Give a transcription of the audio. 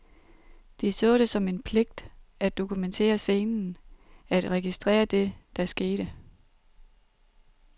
De så det som en pligt at dokumentere scenen, at registrere det, der skete.